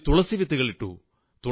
അതിൽ തുളസി വിത്തുകൾ നട്ടു